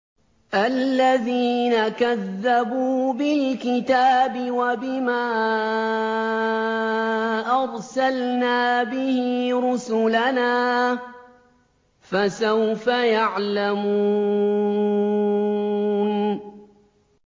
الَّذِينَ كَذَّبُوا بِالْكِتَابِ وَبِمَا أَرْسَلْنَا بِهِ رُسُلَنَا ۖ فَسَوْفَ يَعْلَمُونَ